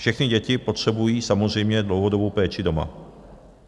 Všechny děti potřebují samozřejmě dlouhodobou péči doma.